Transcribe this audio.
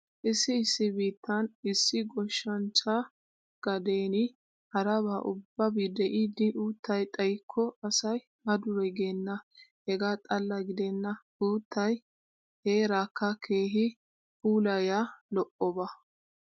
Issi issi biittan issi goshshanchchaa gadeeni haraba ubbabi de'idi uuttay xayikko asay a dure geenna. Hegaa xalla gidenna uuttay heeraakka keehi puulayiya lo'oba.